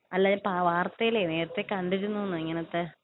അല്ലാ ഞാൻ വാർത്തയില് നേരത്തേ കണ്ടിരുന്നൂ എന്ന് ഇങ്ങനത്തെ.